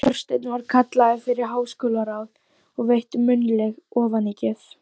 Þorsteinn var kallaður fyrir háskólaráð og veitt munnleg ofanígjöf.